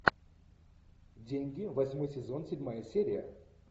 деньги восьмой сезон седьмая серия